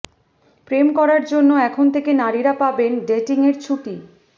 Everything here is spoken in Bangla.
প্রেম করার জন্য এখন থেকে নারীরা পাবেন ডেটিংয়ের ছুটি